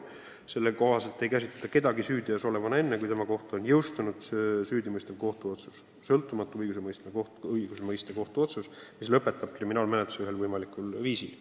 Selle kohaselt ei peeta kedagi süüteos süüdi olevaks enne, kui tema kohta on jõustunud süüdimõistev kohtuotsus – sõltumatu õigustmõistva kohtu otsus, mis lõpetab kriminaalmenetluse konkreetsel viisil.